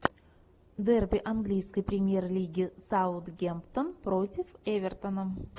дерби английской премьер лиги саутгемптон против эвертона